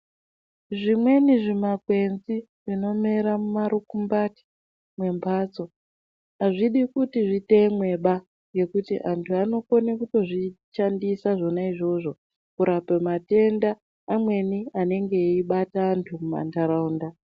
Zvimweni zvimakwenzi zvinomera mumarumbungati mwembatso azvidi kuti zvitemwe ba ngekuti antu anokonekutozvishandisa zvona izvozvo kurape matenda amweni anenge eibata andu mumandaraunda